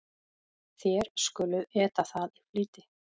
Þér skuluð eta það í flýti.